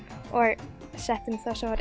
og settum það sem var